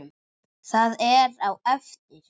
hér á eftir.